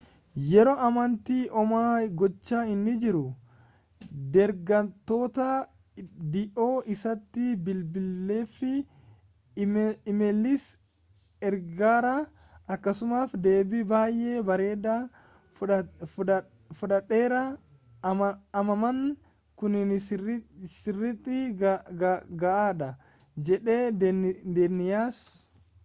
yeroo ammaatti homaa gochaa hin jirru deeggartoota dhihoo isaatti bilbileefii iimeeliis ergeera akkasumas deebii baay'ee bareedaa fudhadheera ammaan kuni sirriitti gahaadha jedhe deeniyaas